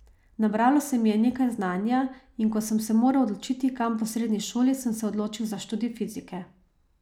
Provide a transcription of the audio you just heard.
Nabralo se mi je nekaj znanja, in ko sem se moral odločiti, kam po srednji šoli, sem se odločil za študij fizike.